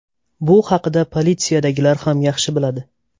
Bu haqida politsiyadagilar ham yaxshi biladi.